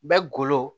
Bɛ golo